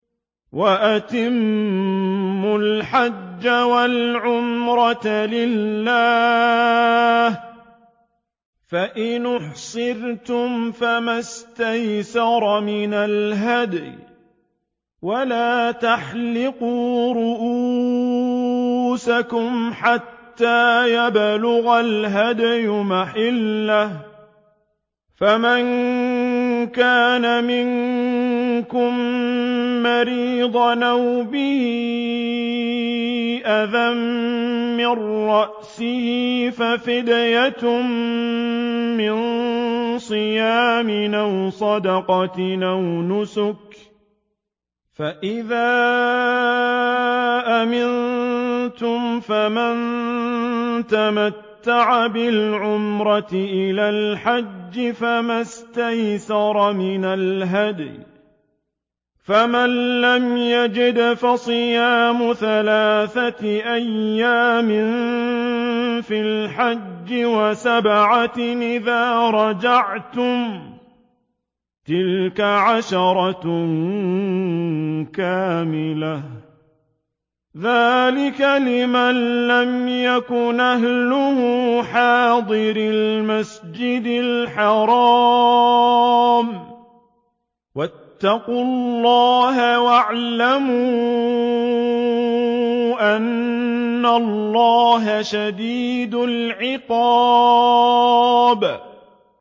وَأَتِمُّوا الْحَجَّ وَالْعُمْرَةَ لِلَّهِ ۚ فَإِنْ أُحْصِرْتُمْ فَمَا اسْتَيْسَرَ مِنَ الْهَدْيِ ۖ وَلَا تَحْلِقُوا رُءُوسَكُمْ حَتَّىٰ يَبْلُغَ الْهَدْيُ مَحِلَّهُ ۚ فَمَن كَانَ مِنكُم مَّرِيضًا أَوْ بِهِ أَذًى مِّن رَّأْسِهِ فَفِدْيَةٌ مِّن صِيَامٍ أَوْ صَدَقَةٍ أَوْ نُسُكٍ ۚ فَإِذَا أَمِنتُمْ فَمَن تَمَتَّعَ بِالْعُمْرَةِ إِلَى الْحَجِّ فَمَا اسْتَيْسَرَ مِنَ الْهَدْيِ ۚ فَمَن لَّمْ يَجِدْ فَصِيَامُ ثَلَاثَةِ أَيَّامٍ فِي الْحَجِّ وَسَبْعَةٍ إِذَا رَجَعْتُمْ ۗ تِلْكَ عَشَرَةٌ كَامِلَةٌ ۗ ذَٰلِكَ لِمَن لَّمْ يَكُنْ أَهْلُهُ حَاضِرِي الْمَسْجِدِ الْحَرَامِ ۚ وَاتَّقُوا اللَّهَ وَاعْلَمُوا أَنَّ اللَّهَ شَدِيدُ الْعِقَابِ